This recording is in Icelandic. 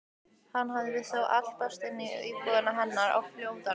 Hann hafði þá álpast inn í íbúðina hennar á flóttanum!